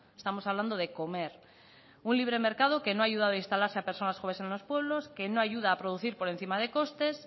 estamos hablando de comer un libre mercado que no ha ayudado a instalarse a personas jóvenes en los pueblos que no ayuda a producir por encima de costes